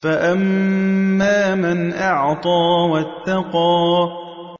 فَأَمَّا مَنْ أَعْطَىٰ وَاتَّقَىٰ